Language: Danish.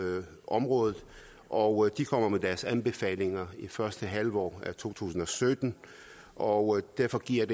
området og de kommer med deres anbefalinger i første halvår af to tusind og sytten og derfor giver